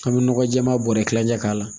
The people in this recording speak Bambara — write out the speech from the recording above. An bɛ nɔgɔ jɛɛma bɔrɛ kilancɛ k'a la